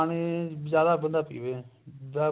ਪਾਣੀ ਜਿਆਦਾ ਖੁੱਲਾ ਪੀਵੇ